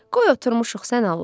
Qoy oturmuşuq sən Allah.